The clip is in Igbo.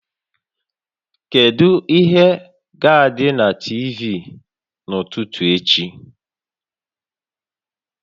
Kedu ihe ga-adị na TV n'ụtụtụ echi?